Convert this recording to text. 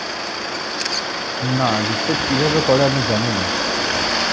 না reset কীভাবে করে আমি জানিনা